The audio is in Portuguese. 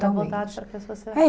Totalmente. Era voltada para pessoas